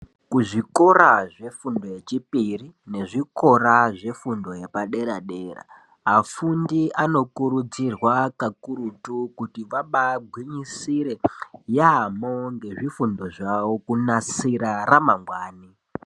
Kuzvikora zvefundo yechipiri nezvikora zvefundo yepadera-dera. Afundi anokurudzirwa kakurutu kuti vabagwinyisire yaamho ngezvifundo zvavo kunasira ramangwani.